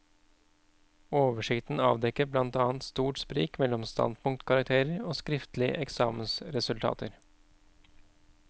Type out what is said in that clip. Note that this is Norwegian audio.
Oversikten avdekket blant annet stort sprik mellom standpunktkarakterer og skriftlige eksamensresultater.